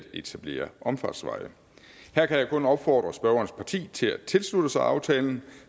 etablere omfartsveje her kan jeg kun opfordre spørgerens parti til at tilslutte sig aftalen